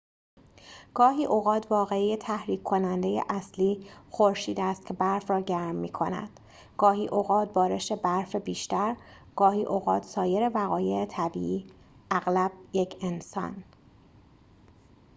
گاهی اوقات واقعه تحریک کننده اصلی خورشید است که برف را گرم می کند گاهی اوقات بارش برف بیشتر گاهی اوقات سایر وقایع طبیعی اغلب یک انسان